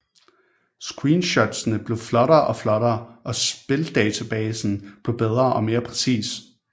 Screenshotsene bliver flottere og flottere og spildatabasen bliver bedre og mere præcis